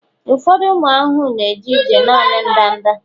ụfọdụ ụmụ ahụhụ na-eje ije naanị ndanda